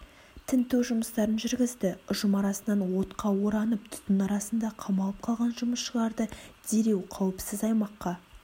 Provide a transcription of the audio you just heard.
тінту жұмыстарын жүргізді ұжым арасынан отқа оранып түтін арасында қамалып қалған жұмысшыларды дереу қауіпсіз аймаққа